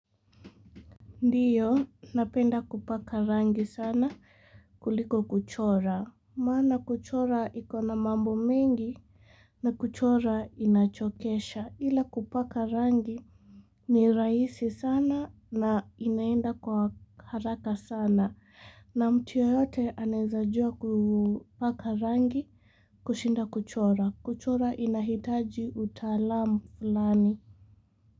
Ndiyo, napenda kupaka rangi sana kuliko kuchora. Maana kuchora iko na mambo mengi na kuchora inachokesha. Ila kupaka rangi ni rahisi sana na inaenda kwa haraka sana. Na mtu yeyote anaezajua kupaka rangi kushinda kuchora. Kuchora inahitaji utaalamu fulani.